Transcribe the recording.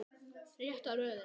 Rétta röðin.